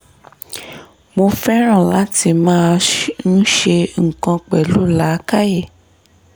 mo fẹ́ràn láti máa ṣh ń ṣe nǹkan pẹ̀lú làákàyè